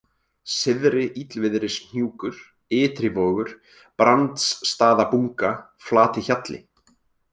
Syðri-Illviðrishnjúkur, Ytrivogur, Brandsstaðabunga, Flatihjalli